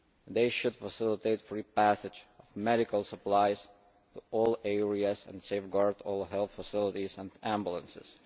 They should facilitate free passage of medical supplies to all areas and safeguard all health facilities and ambulances.